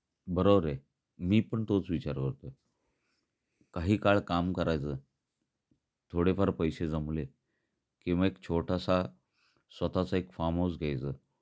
बरोबर आहे. मी पण तोच विचार करतो आहे. काही काळ काम करायच, थोडे फार पैसे जमले कि मग एक छोटासा स्वतःचा एक फार्म हाउस घ्यायच